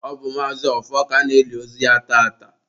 ọ bụ Maazi Ọfọ ka a na-eli ozu ya tata